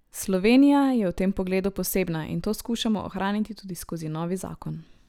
Slovenija je v tem pogledu posebna in to skušamo ohraniti tudi skozi novi zakon.